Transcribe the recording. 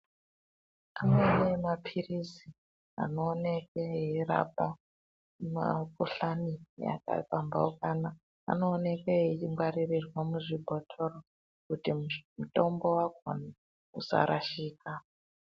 Amweni maphirizi anooneke eirapa mikuhlane yakapambaukana anooneke eyingwaririrwa muzvibhotoro kuti mutombo wakona usarashika.